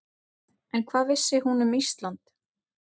En hvað vissi hún um Ísland?